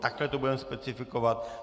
Takhle to budeme specifikovat.